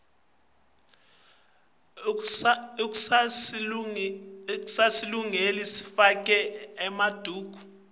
akusasilungeli sifake emaduku